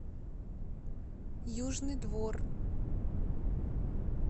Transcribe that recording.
южный двор